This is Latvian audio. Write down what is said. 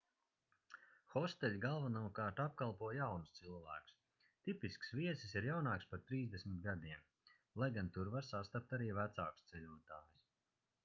hosteļi galvenokārt apkalpo jaunus cilvēkus tipisks viesis ir jaunāks par trīsdesmit gadiem - lai gan tur var sastapt arī vecākus ceļotājus